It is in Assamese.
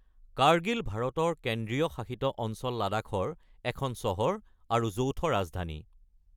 কাৰ্গিল ভাৰতৰ কেন্দ্ৰীয় শাসিত অঞ্চল লাডাখৰ এখন চহৰ আৰু যৌথ ৰাজধানী।